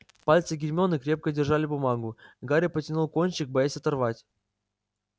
пальцы гермионы крепко держали бумагу гарри потянул кончик боясь оторвать